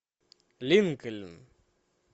линкольн